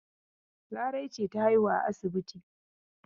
Larai ce ta haihu a asibiti.